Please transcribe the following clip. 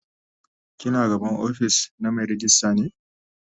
ki na gaban ofis na Mai ragista ne?